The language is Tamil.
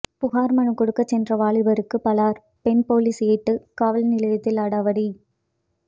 புகார் மனு கொடுக்க சென்ற வாலிபருக்கு பளார் பெண் போலீஸ் ஏட்டு காவல் நிலையத்தில் அடாவடி